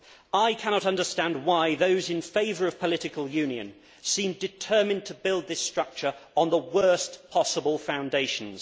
I cannot understand why those in favour of political union seem determined to build this structure on the worst possible foundations.